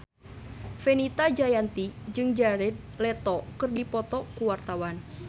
Fenita Jayanti jeung Jared Leto keur dipoto ku wartawan